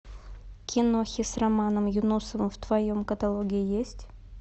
кинохи с романом юнусовым в твоем каталоге есть